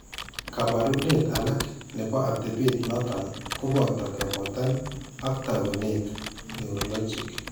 Kaabarunet alak ne po atepet noton ko boto ke boton ak taakunet neurologic.